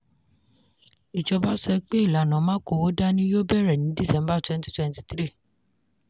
ìjọba sọ pé ìlànà “ma kówó dání” yóò bẹ̀rẹ̀ ní December twenty twenty three.